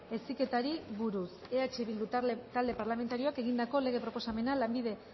heziketari buruz eh bildu talde parlamentarioak egindako lege proposamena lanbide